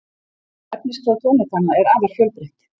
Efnisskrá tónleikanna er afar fjölbreytt